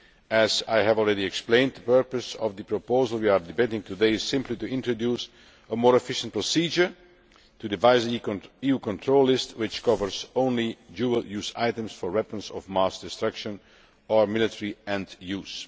As I have already explained, the purpose of the proposal we are debating today is simply to introduce a more efficient procedure to revise the EU control list which covers only dual use items for weapons of mass destruction or military end use.